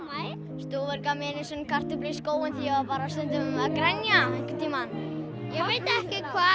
stúfur gaf mér einu sinni kartöflu í skóinn því ég var bara stundum að grenja einhvern tímann ég veit ekki hvað